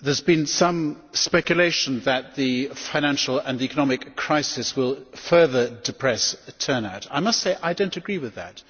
There has also been some speculation that the financial and economic crisis will further depress the turnout. I must say I do not agree with that.